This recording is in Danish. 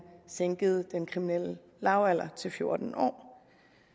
sænkede den kriminelle lavalder til fjorten år